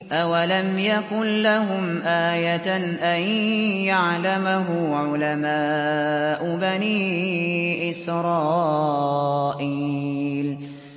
أَوَلَمْ يَكُن لَّهُمْ آيَةً أَن يَعْلَمَهُ عُلَمَاءُ بَنِي إِسْرَائِيلَ